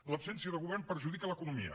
l’absència de govern perjudica l’economia